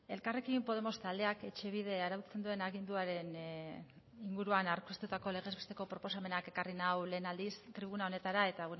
elkarrekin podemos taldeak etxebide arautzen duen aginduaren inguruan aurkeztutako legez besteko proposamenak ekarri nau lehen aldiz tribuna honetara eta